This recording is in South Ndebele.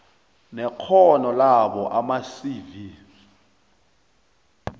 nekghono labo amacv